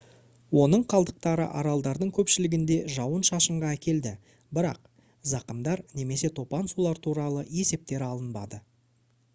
оның қалдықтары аралдардың көпшілігінде жауын-шашынға әкелді бірақ зақымдар немесе топан сулар туралы есептер алынбады